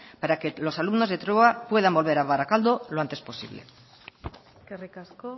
para que los alumnos de trueba puedan volver a barakaldo lo antes posible eskerrik asko